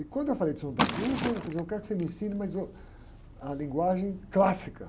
E quando eu falei de São João da Cruz, ainda falei assim, eu quero que você me ensine, mas uh, a linguagem clássica.